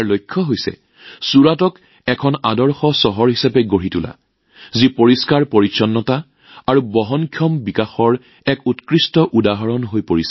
ইয়াৰ লক্ষ্য হৈছে ছুৰাটক এখন আদৰ্শ চহৰ হিচাপে গঢ়ি তোলা যিখন স্বচ্ছতা আৰু বহনক্ষম উন্নয়নৰ এক উৎকৃষ্ট উদাহৰণ হৈ পৰে